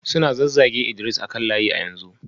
Suna zazzage Idris a kan layi a yanzu